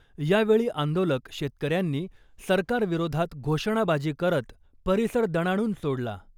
यावेळी आंदोलक शेतकऱ्यांनी सरकार विरोधात घोषणाबाजी करत परिसर दणाणून सोडला .